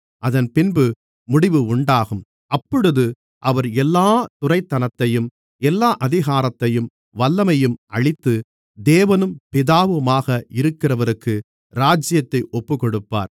அதன்பின்பு முடிவு உண்டாகும் அப்பொழுது அவர் எல்லாத் துரைத்தனத்தையும் எல்லா அதிகாரத்தையும் வல்லமையையும் அழித்து தேவனும் பிதாவுமாக இருக்கிறவருக்கு ராஜ்யத்தை ஒப்புக்கொடுப்பார்